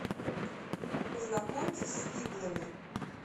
познакомьтесь с фиблами